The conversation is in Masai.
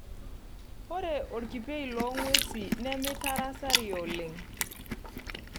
Ore Olkipei loo ng'wesi nemeitarasario oleng'.